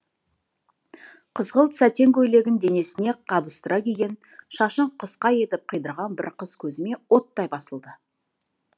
қызғылт сәтен көйлегін денесіне қабыстыра киген шашын қысқа етіп қидырған бір қыз көзіме оттай басылды